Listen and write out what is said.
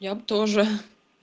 я бы тоже